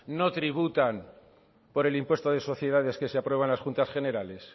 no tributan por el impuesto de sociedades que se aprueba en las juntas generales